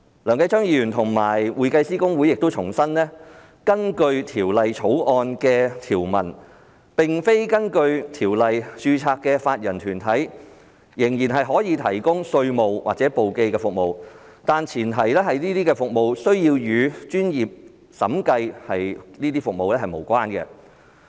梁繼昌議員和公會亦重申，根據《條例草案》的條文，並非根據《條例》註冊的法人團體仍然可以提供稅務或簿記服務，但前提是，這些服務須與專業審計服務無關。